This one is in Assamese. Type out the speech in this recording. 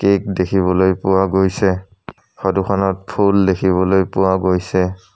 কেক দেখিবলৈ পোৱা গৈছে ফটোখনত ফুল দেখিবলৈ পোৱা গৈছে।